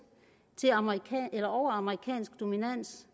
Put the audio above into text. og amerikansk dominans